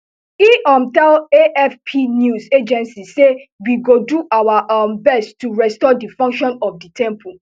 e um tell afp news agency say we go do our um best to restore di function of di temple